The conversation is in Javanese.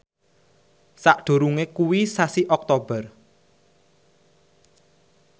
sakdurunge kuwi sasi Oktober